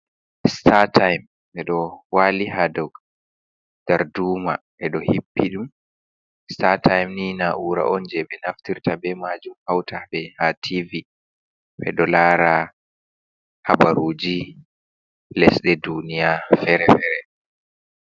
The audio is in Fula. Statym ndeɗo wali hadow dar duma. ɓeɗo hippi ɗum statym ni na ura'on je ɓe naftirta bemajum hauta be ha tivi ɓeɗo lara habaruji lesɗe duniya fere-fere.